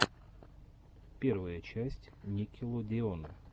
первая часть никелодеона